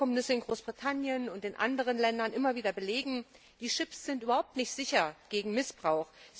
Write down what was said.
Wie es die Vorkommnisse in Großbritannien und in anderen Ländern immer wieder belegen die Chips sind überhaupt nicht sicher gegen Missbrauch.